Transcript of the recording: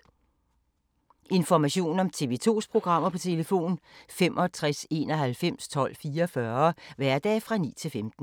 Information om TV 2's programmer: 65 91 12 44, hverdage 9-15.